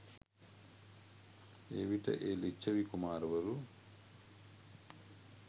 එවිට ඒ ලිච්ඡවි කුමාරවරු